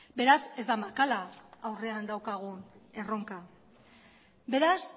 beraz ez da makala aurrean daukagun erronka beraz